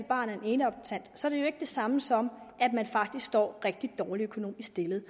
barn af en eneadoptant så er det jo ikke det samme som at man faktisk er rigtig dårligt økonomisk stillet